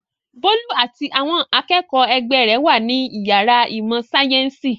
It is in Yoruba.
Bólú àti àwọn akẹ́kọ̀ọ́ ẹgbẹ́ rẹ̀ wà ní ìyàrá ìmọ̀-sáyẹ́ńsì.